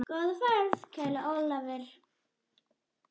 Góða ferð, kæri Ólafur.